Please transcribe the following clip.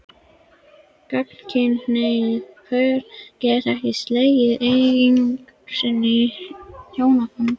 Gagnkynhneigð pör geta ekki slegið eign sinni á hjónabandið.